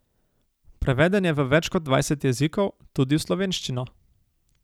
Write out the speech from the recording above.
Preveden je v več kot dvajset jezikov, tudi v slovenščino.